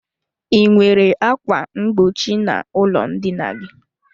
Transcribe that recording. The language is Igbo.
I nwere ákwà mgbochi n'ụlọ ndina gị?